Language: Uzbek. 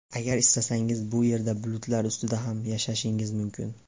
Agar istasangiz, bu yerda bulutlar ustida ham yashashingiz mumkin.